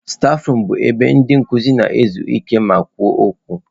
Stafurum bụ ebe ndị nkuzi na-ezu ike ma na-ekwu okwu.